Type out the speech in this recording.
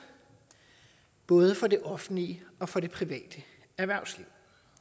både for det offentlige og for det private erhvervsliv